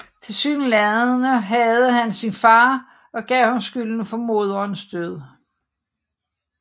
Tilsyneladende hadede han sin far og gav ham skylden for moderens død